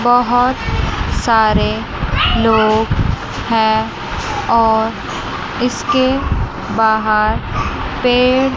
बहोत सारे लोग हैं और इसके बाहर पेड़--